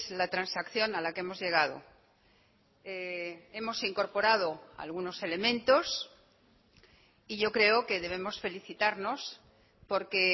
la transacción a la que hemos llegado hemos incorporado algunos elementos y yo creo que debemos felicitarnos porque